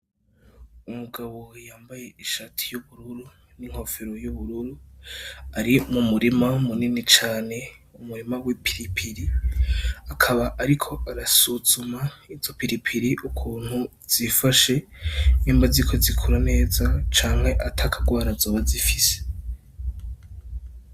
Umugabo we yambaye ishati yubururu n'inkofero y'ubururu ari mu murima munini cane umurima w'i pilipili akaba, ariko arasuzuma izo pilipiri ukuntu zifashe nemba zi ko zikura neza canke atakarwara azoba zifise a.